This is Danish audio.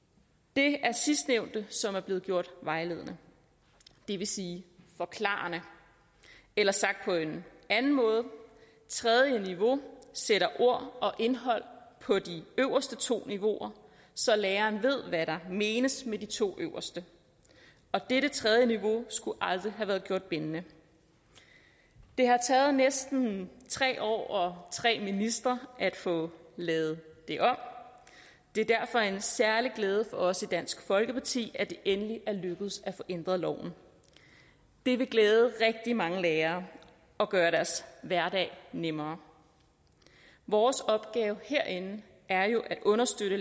det er sidstnævnte som er blevet gjort vejledende det vil sige forklarende eller sagt på en anden måde tredje niveau sætter ord og indhold på de øverste to niveauer så læreren ved hvad der menes med de to øverste og dette tredje niveau skulle aldrig have været gjort bindende det har taget næsten tre år og tre ministre at få lavet det om det er derfor en særlig glæde for os i dansk folkeparti at det endelig er lykkedes at få ændret loven det vil glæde rigtig mange lærere og gøre deres hverdag nemmere vores opgave herinde er at understøtte